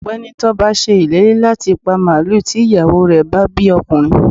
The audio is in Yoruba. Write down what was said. ọgbẹni Toba sé ìlérí latí pá maluú tí iyawo re bá bí ọkunrín